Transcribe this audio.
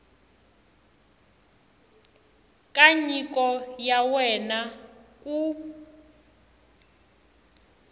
ka nyiko ya wena ku